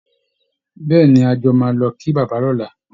Bẹ́ẹ̀ ni, a jọ máa lọ kí bàbá lọ́la